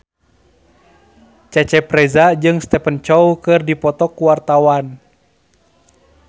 Cecep Reza jeung Stephen Chow keur dipoto ku wartawan